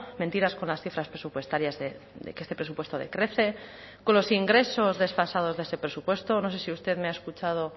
mentiras con las cifras presupuestarias de que este presupuesto decrece con los ingresos desfasados de ese presupuesto no sé si usted me ha escuchado